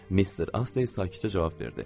Mister Astey sakitcə cavab verdi.